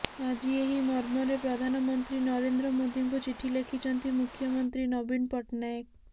ଆଜି ଏହି ମର୍ମରେ ପ୍ରଧାନମନ୍ତ୍ରୀ ନରେନ୍ଦ୍ର ମୋଦିଙ୍କୁ ଚିଠି ଲେଖିଛନ୍ତି ମୁଖ୍ୟମନ୍ତ୍ରୀ ନବୀନ ପଟ୍ଟନାୟକ